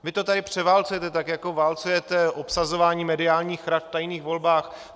Vy to tady převálcujete, tak jako válcujete obsazování mediálních rad v tajných volbách.